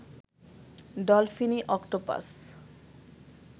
ডলফিনি octopus